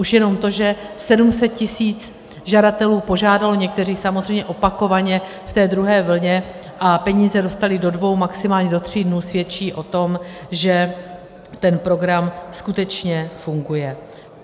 Už jenom to, že 700 tisíc žadatelů požádalo, někteří samozřejmě opakovaně v té druhé vlně, a peníze dostali do dvou, maximálně do tří dnů, svědčí o tom, že ten program skutečně funguje.